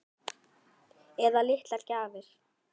Eða litlar gjafir.